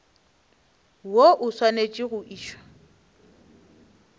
woo o swanetše go išwa